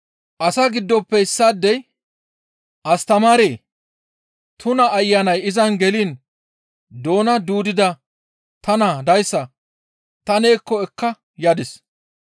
Asaa giddofe issaadey, «Astamaaree! Tuna ayanay izan geliin doona duudida ta naa dayssa ta neekko ekka yadis.